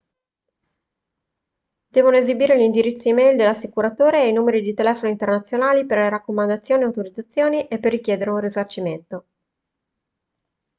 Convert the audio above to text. devono esibire l'indirizzo e-mail dell'assicuratore e i numeri di telefono internazionali per le raccomandazioni/autorizzazioni e per richiedere un risarcimento